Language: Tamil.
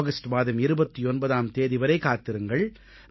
ஆகஸ்ட் மாதம் 29ஆம் தேதி வரை காத்திருங்கள்